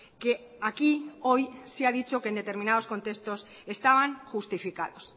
que aquí hoy se ha dicho que en determinados contextos estaban justificados